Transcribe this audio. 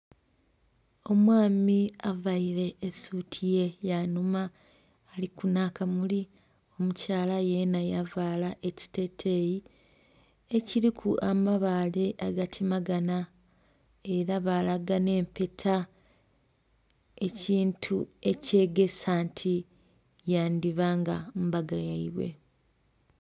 Omwaami avaire esuti ye ya nhuma aliku nha kamuli omukyalayenha yavala ekiteteyi ekiriku amabaale aga temeganha era balaga nhe empeta ekintu ekyegesa nti yandhiba nga mbaga yaibwe.